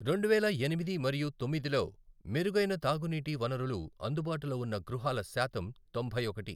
రెండువేల ఎనిమిది మరియు తొమ్మిదిలో మెరుగైన తాగునీటి వనరులు అందుబాటులో ఉన్న గృహాల శాతం తొంభై ఒకటి.